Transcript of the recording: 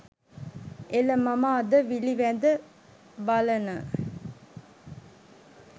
එල මම අද විළි වැද බලන